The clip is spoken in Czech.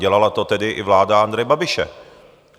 Dělala to tedy i vláda Andreje Babiše.